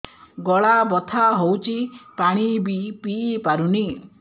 ଗଳା ବଥା ହଉଚି ପାଣି ବି ପିଇ ପାରୁନି